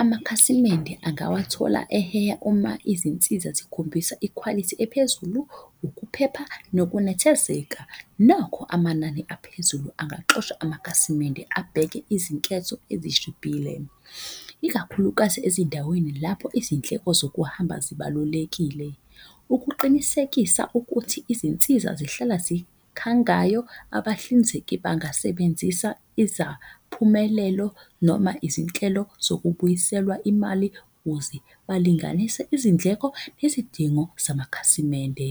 amakhasimende angawathola eheha uma izinsiza zikhombisa ikhwalithi ephezulu, ukuphepha, nokunethezeka. Nokho, amanani aphezulu angayixosha amakhasimende abheke izinketho ezishibhile. Ikakhulukazi ezindaweni lapho izindleko zokuhamba zibalulekile. Ukuqinisekisa ukuthi izinsiza zihlala zikhangayo. Abahlinzeki bangasebenzisa izaphumelelo noma izinhlelo zokubuyiselwa imali ukuze balinganise izindleko nezidingo zamakhasimende.